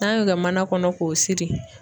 N'an y'o kɛ mana kɔnɔ k'o siri